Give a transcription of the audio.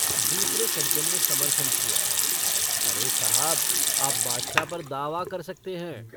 दूसरे सज्जन ने समर्थन किया अरे साहब आप बादशाह पर दावा कर सकते हैं।